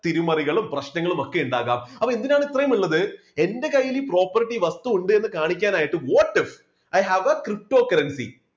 തിരുമറികളും പ്രശ്നങ്ങളും ഒക്കെ ഉണ്ടാകാം. അപ്പോ അതിനാണ് ഇത്രയും ഉള്ളത് എൻറെ കയ്യിൽ ഈ property വസ്തു ഉണ്ടെന്ന് കാണിക്കാൻ ആയിട്ട് go to I have a cryptocurrency